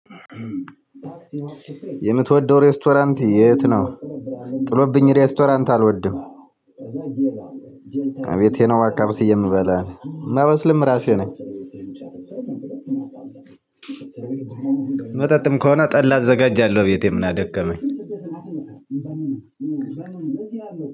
የምትወደው ሬስቶራንት የት ነው? ጥሎብኝ ሬስቶራንት አልወድም እቤቴ ነው በቃ አብስዬ የምበላው የማበስለውም እራሴ ነኝ መጠጥም ከሆነ ጠላ አዘጋጃለሁ ቤቴ ምን አደከመኝ